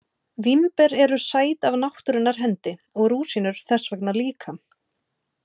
Vínber eru sæt af náttúrunnar hendi og rúsínur þess vegna líka.